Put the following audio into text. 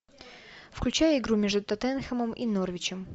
включай игру между тоттенхэмом и норвичем